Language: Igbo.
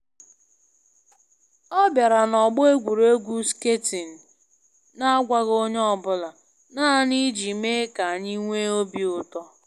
Ọ bịara na ọgbọ egwuregwu skating na agwaghị onye ọ bụla, naanị iji mee ka anyị nwee obi ụtọ